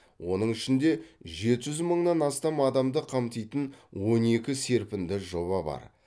оның ішінде жеті жүз мыңнан астам адамды қамтитын он екі серпінді жоба бар